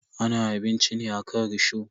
Ana abinci ne akan risho.